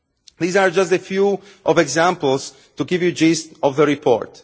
These are just a few examples to give you the gist of the report.